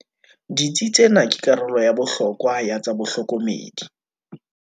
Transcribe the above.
Ditsi tsena ke karolo ya bohlokwa ya tsa bohlokomedi.